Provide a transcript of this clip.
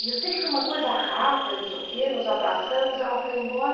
E eu sei que foi uma coisa rápida, não sei o quê, nos abraçamos, ela foi embora.